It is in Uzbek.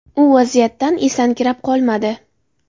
U vaziyatdan esankirab qolmadi.